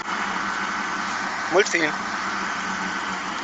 мультфильм